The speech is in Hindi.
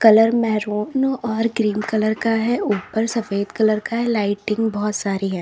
पिलर मेहरून और क्रीम कलर का है ऊपर सफेद कलर का है लाइटिंग बहुत सारी है।